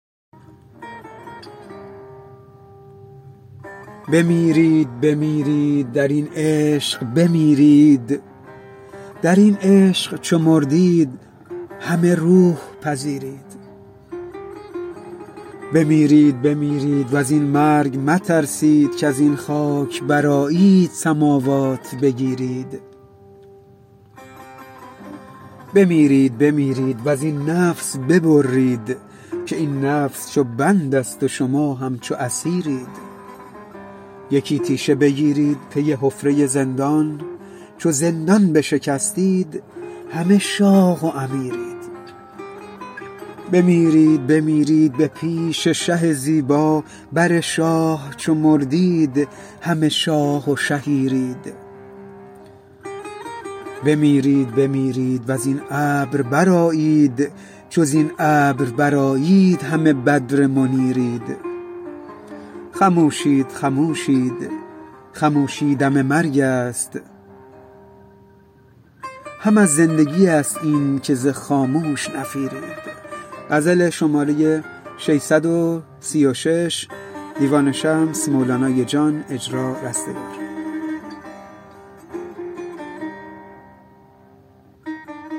بمیرید بمیرید در این عشق بمیرید در این عشق چو مردید همه روح پذیرید بمیرید بمیرید و زین مرگ مترسید کز این خاک برآیید سماوات بگیرید بمیرید بمیرید و زین نفس ببرید که این نفس چو بندست و شما همچو اسیرید یکی تیشه بگیرید پی حفره زندان چو زندان بشکستید همه شاه و امیرید بمیرید بمیرید به پیش شه زیبا بر شاه چو مردید همه شاه و شهیرید بمیرید بمیرید و زین ابر برآیید چو زین ابر برآیید همه بدر منیرید خموشید خموشید خموشی دم مرگست هم از زندگیست اینک ز خاموش نفیرید